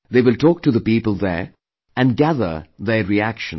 They will talk to the people there and gather their reactions